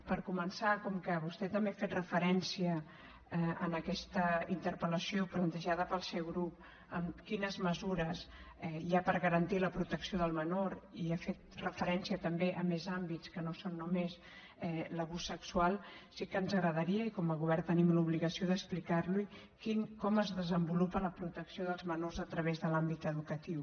per començar com que vostè també ha fet referència en aquesta interpel·lació plantejada pel seu grup a quines mesures hi ha per garantir la protecció del menor i ha fet referència també a més àmbits que no són només l’abús sexual sí que ens agradaria i com a govern tenim l’obligació d’explicar li ho com es desenvolupa la protecció dels menors a través de l’àmbit educatiu